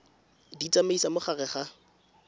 di tsamaisa mo gare ga